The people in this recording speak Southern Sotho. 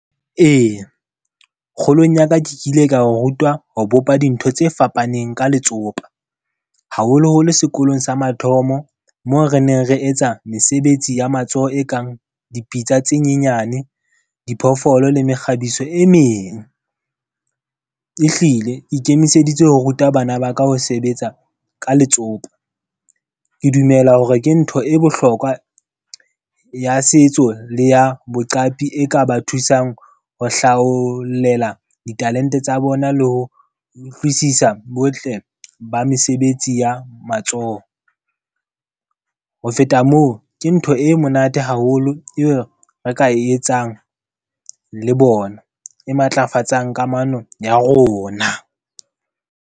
Eya, kgolong ya ka ke kile ka ho rutwa ho bopa dintho tse fapaneng ka letsopa. Haholoholo sekolong sa mathomo moo re neng re etsa mesebetsi ya matsoho e kang dipitsa tse nyenyane, diphoofolo le mekgabiso e meng. E hlile, ke ikemiseditse ho ruta bana ba ka ho sebetsa ka letsopa. Ke dumela hore ke ntho e bohlokwa ya setso le ya boqapi e ka ba thusang ho hlaolela ditalente tsa bona le ho utlwisisa botle ba mesebetsi ya matsoho. Ho feta moo, ke ntho e monate haholo E be re ka e etsang le bona, e matlafatsang kamano ya rona.